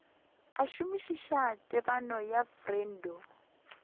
a šomišitše tebanyo ya freud